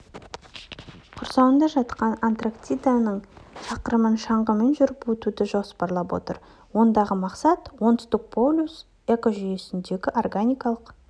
құрсауында жатқан антарктиданың шақырымын шаңғымен жүріп өтуді жоспарлап отыр ондағы мақсат оңтүстік полюс экожүйесіндегі органикалық